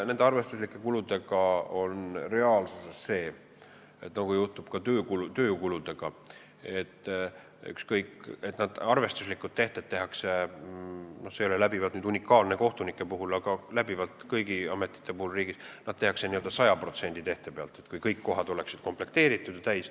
Nende arvestuslike kuludega on reaalsuses nii, nagu juhtub ka töökuludega, et need arvestuslikud tehted tehakse – see ei ole nüüd kohtunike puhul unikaalne, see kehtib kõigi ametite kohta riigis – n-ö 100% tehte pealt, st nagu kõik kohad oleksid komplekteeritud.